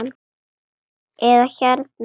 eða hérna